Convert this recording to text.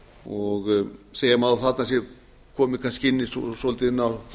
og segja má að þarna sé komið kannski inn á